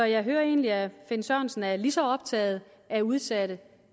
jeg hører egentlig at herre finn sørensen er lige så optaget af udsatte